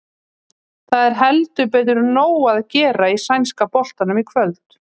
Það er heldur betur nóg að gera í sænska boltanum í kvöld.